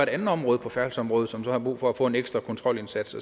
andet område på færdselsområdet som så har brug for at få en ekstra kontrolindsats